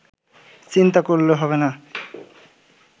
চিন্তা করলে হবেনা